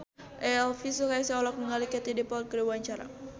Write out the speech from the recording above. Elvy Sukaesih olohok ningali Katie Dippold keur diwawancara